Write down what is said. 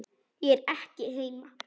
Ég er ekki heima